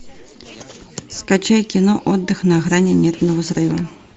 скачай кино отдых на грани нервного срыва